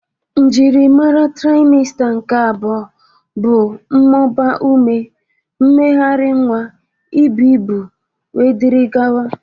Njiri mara traịmsta nke abụọ bụ mmụba ume, mmegharị nwa, ibu ibu wdg.